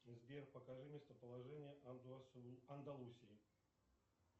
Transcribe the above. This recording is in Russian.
сбер покажи местоположение андалусии